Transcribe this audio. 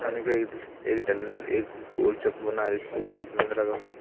एक गोल चक्र बना है जिसके ऊपर एक लगा हुआ--